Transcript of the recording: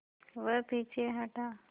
वह पीछे हटा